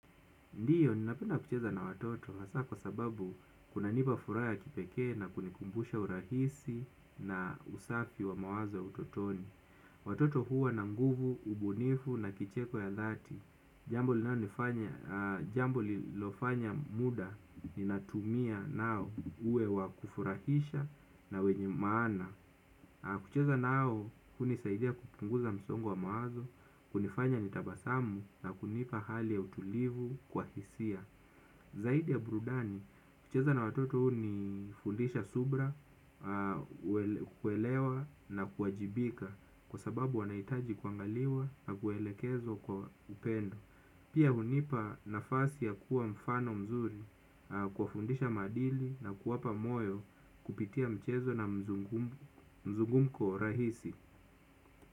Ndiyo, ninapena kucheza na watoto, hasa kwa sababu kunanipa furaha ya kipeke na kunikumbusha urahisi na usafi wa mawazo utotoni. Watoto huwa na nguvu, ubunifu na kicheko ya dhati. Jambo linalonifanya jambo lilofanya muda, ninatumia nao uwe wa kufurahisha na wenye maana. Kucheza nao hunisaidia kupunguza msongo wa mawazo hunifanya nitabasamu na hunipa hali ya utulivu kwa hisia. Zaidi ya burudani, kucheza na watoto hunifundisha subira, kuelewa na kuwajibika kwa sababu wanahitaji kuangaliwa na kuelekezwa kwa upendo. Pia hunipa nafasi ya kuwa mfano mzuri kuwafundisha madili na kuwapa moyo kupitia mchezo na mzungumko rahisi.